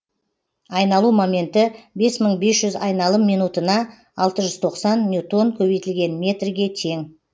айналу моменті бес мың бес жүз айналым минутына алты жүз тоқсан ньютон көбейтілген метрге тең